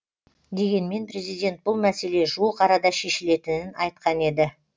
дегенмен президент бұл мәселе жуық арада шешілетінін айтқан еді